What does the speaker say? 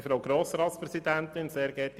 Kommissionspräsident der FiKo.